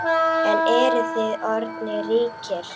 En eruð þið orðnir ríkir?